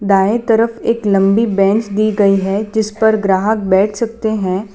दाएं तरफ एक लंबी बेंच दी गई है जिस पर ग्राहक बैठ सकते हैं।